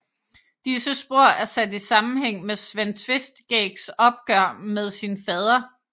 Disse spor er sat i sammenhæng med Sven Tveskægs opgør med sin fader